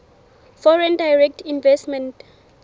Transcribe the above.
foreign direct investment